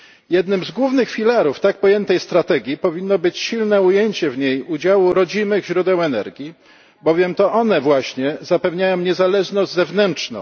Jednym z głównych filarów tak pojętej strategii powinno być silne ujęcie w niej udziału rodzimych źródeł energii, bowiem to one właśnie zapewniają niezależność zewnętrzną.